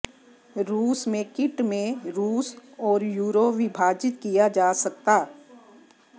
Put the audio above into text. रूस में किट में रूस और यूरो विभाजित किया जा सकता